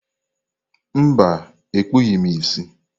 Mba, ekpughị m ìsì.